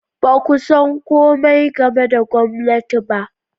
Ba ku san komai game da gwamnati ba.